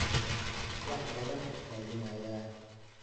wax baan raadinayaa